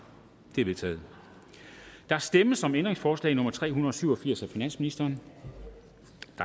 de er vedtaget der stemmes om ændringsforslag nummer tre hundrede og syv og firs af finansministeren